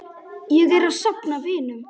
Ég er að safna vinum.